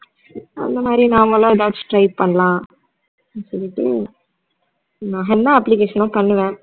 அந்த மாதிரி நாமலும் எதாச்சு try பண்ணலாம் சொல்லிட்டு என்ன application லாம் பண்ணுவ